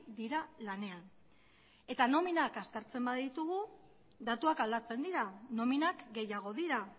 dira lanean eta nominak aztertzen baditugu datuak aldatzen dira nominak gehiago dira